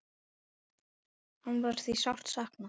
Hans er því sárt saknað.